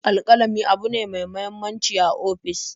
Alƙalami abune ne me muhimmanci a ofis.